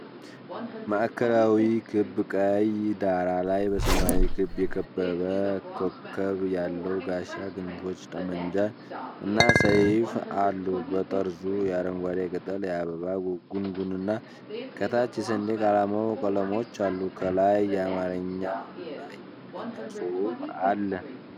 ማዕከላዊ ክብ ቀይ ዳራ ላይ በሰማያዊ ክብ የከበበ ኮከብ ያለው ጋሻ፣ ክንፎች፣ ጠመንጃ እና ሰይፍ አሉ። በጠርዙ የአረንጓዴ ቅጠል የአበባ ጉንጉንና ከታች የሰንደቅ ዓላማው ቀለሞች አሉ። ከላይ በአማርኛ እና በእንግሊዝኛ ጽሑፍ አለ።